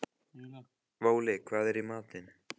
Váli, hvað er í matinn?